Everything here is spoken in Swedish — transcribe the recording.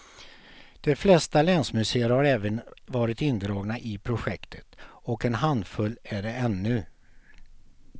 De flesta länsmuseer har även varit indragna i projektet och en handfull är det ännu.